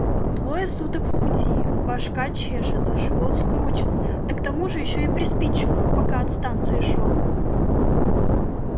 двое суток в пути башка чешется живот скручен да к тому же ещё и приспичило пока от станции шёл